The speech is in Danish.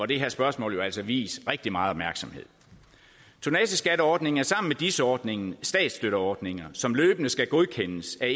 det her spørgsmål jo altså vies rigtig meget opmærksomhed tonnageskatteordningen er sammen med dis ordningen statsstøtteordninger som løbende skal godkendes af